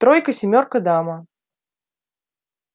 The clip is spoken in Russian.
тройка семёрка дама